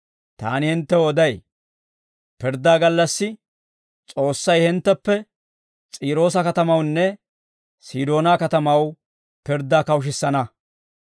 Taani hinttew oday; pirddaa gallassi S'oossay hintteppe S'iiroosa katamawunne Sidoonaa katamaw pirddaa kawushissana.